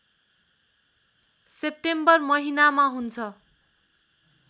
September महिनामा हुन्छ